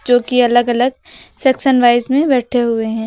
जोकि अलग अलग सेक्शन वाइज में बैठे हुए हैं।